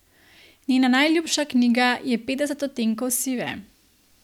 Njena najljubša knjiga je Petdeset odtenkov sive.